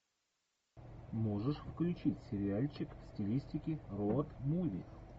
можешь включить сериальчик в стилистике роуд муви